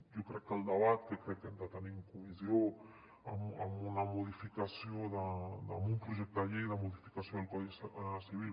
jo crec que el debat que crec que hem de tenir en comissió amb un projecte de llei de modificació del codi civil